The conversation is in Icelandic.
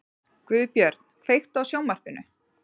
Guðbjörn, kveiktu á sjónvarpinu.